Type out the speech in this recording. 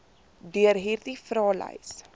deur hierdie vraelys